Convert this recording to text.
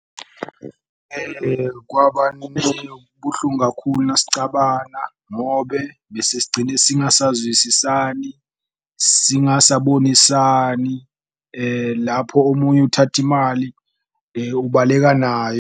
Buhlungu kakhulu nasicabana ngobe bese sigcine singasazwisisani, singasabonisani lapho omunye uthathe imali ubaleka nayo.